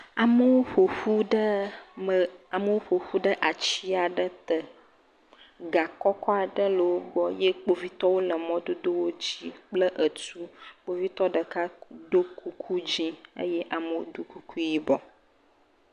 Amewo ƒoƒu ɖe ati aɖe te, ga kɔkɔ aɖe le wo gbɔ ye kpovitɔwo le mɔdodowo dzi kple etu, kpovitɔ ɖeka ɖo kuku dzɛ̃ ye amewo ɖo kuku yibɔ.